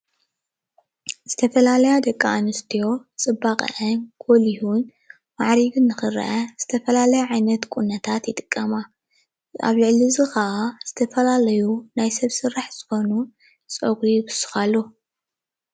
ዝተፈላለያ ደቂ አንስትዮ ፅባቐአን ጎሊሁን ማዕሪጉን ንክረአ ዝተፈላለያ ዓይነት ቁኖታት ይጥቀማ። ኣብ ልዕሊ እዚ ካዓ ዝተፈላለዩ ናይ ሰብ ስራሕ ዝኾኑ ፀጉሪ ይውስኻሉ፡፡